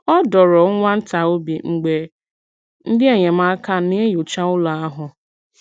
Ọ dọ̀ọrọ nwa ntà obi mgbe ndị enyemáka na-enyòcha ụlọ̀ ahụ̀.